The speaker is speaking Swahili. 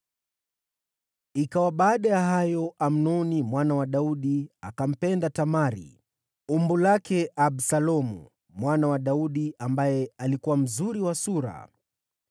Ikawa baada ya hayo, Amnoni mwana wa Daudi akampenda Tamari, umbu lake Absalomu mwana wa Daudi, ambaye alikuwa mzuri wa sura.